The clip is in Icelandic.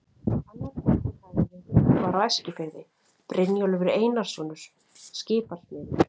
Annar góður hagyrðingur var á Eskifirði, Brynjólfur Einarsson skipasmiður.